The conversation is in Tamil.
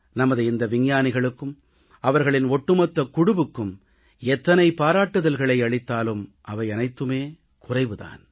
நமது இந்த விஞ்ஞானிகளுக்கும் அவர்களின் ஒட்டுமொத்த குழுவுக்கும் எத்தனை பாராட்டுக்களை அளித்தாலும் அவையனைத்துமே குறைவு தான்